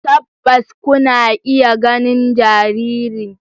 Tabbas kuna iya ganin jaririn.